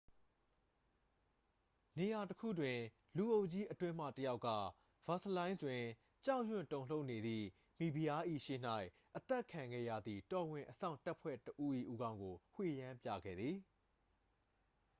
နေရာတစ်ခုတွင် လူအုပ်ကြီးအတွင်းမှ တစ်ယောက်က ဗာစလိုင်းစ် တွင် ကြောက်ရွံ့တုန်လှုပ်နေသည့် မိဖုရား၏ ရှေ့၌ အသတ်ခံခဲ့ရသည့် တော်ဝင်အစောင့်တပ်ဖွဲ့ဝင်တစ်ဦး၏ ဦးခေါင်းကို ဝှေ့ယမ်းပြခဲ့သည်